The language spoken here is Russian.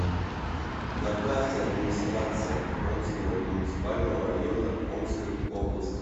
на карте администрация омского муниципального района омской области